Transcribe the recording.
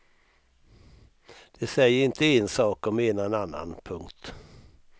De säger inte en sak och menar en annan. punkt